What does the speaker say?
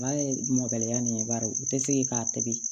Baara ye mɔkɛ nin ba u tɛ se k'a tobi